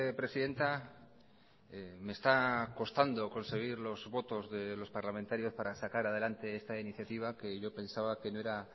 presidenta me está costando conseguir los votos de los parlamentarios para sacar adelante esta iniciativa que yo pensaba que no era